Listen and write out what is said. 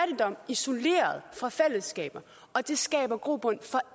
isoleret fra fællesskaber og det skaber grobund for